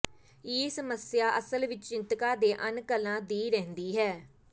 ਇਹ ਸਮੱਸਿਆ ਅਸਲ ਵਿੱਚ ਚਿੰਤਕਾਂ ਦੇ ਅਨਕਲਾਂ ਦੀ ਰਹਿੰਦੀ ਹੈ